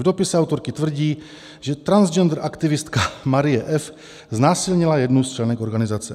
V dopise autorky tvrdí, že transgender aktivistka Marie F. znásilnila jednu z členek organizace.